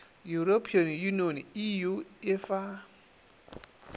european union eu e fa